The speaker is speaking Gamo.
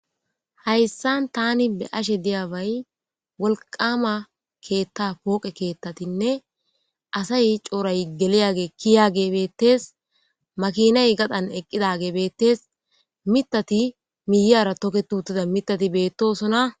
Hayssan tani be ashe diyabay wolqama keetta pooqe keettatinne asay cooray geliyage kiya gebeettes makinay gadan eqqida gebeettes mitati miyara toke tuuttida mitati beettoosona